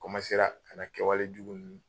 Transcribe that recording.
Komansera ka na kɛwale jugu